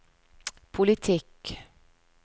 politikk